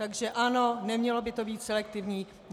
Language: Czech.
Takže ano, nemělo by to být selektivní.